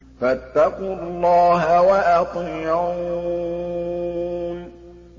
فَاتَّقُوا اللَّهَ وَأَطِيعُونِ